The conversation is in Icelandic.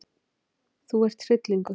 Þú ert hryllingur!